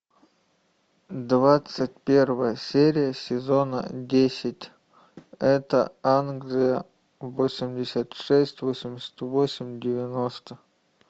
двадцать первая серия сезона десять это англия восемьдесят шесть восемьдесят восемь девяносто